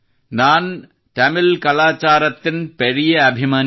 ನಾನ್ ತಮಿಳ್ ಕಲಾ ಚಾರಾಕ್ತಿನ್ ಪೇರಿಯೇ ಅಭಿಮಾನಿ